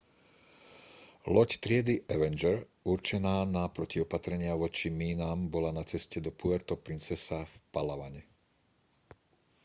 loď triedy avenger určená na protiopatrenia voči mínam bola na ceste do puerto princesa v palawane